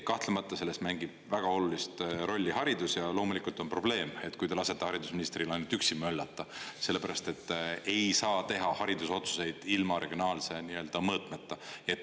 Kahtlemata selles mängib väga olulist rolli haridus ja loomulikult on probleem, kui te lasete haridusministril ainult üksi möllata, sellepärast et ei saa teha haridusotsuseid ilma regionaalse mõõtmeta.